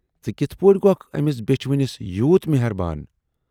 ژٕ کِتھ پٮ۪ٹھ گَوکھ ٲمِس بیچھِ وٕنِس یوٗت میہربان؟